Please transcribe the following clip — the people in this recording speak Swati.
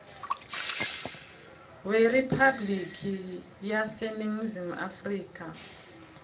weriphabhliki yaseningizimu afrika